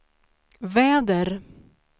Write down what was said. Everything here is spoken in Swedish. väder